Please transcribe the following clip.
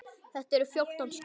Þetta eru fjórtán skip.